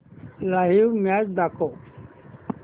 live match दाखव